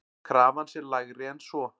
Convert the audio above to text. Krafan sé lægri en svo.